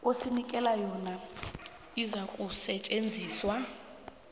osinikela yona izakusetjenziswa